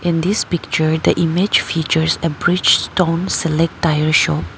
In this picture the image features a bridgestone select tire shop.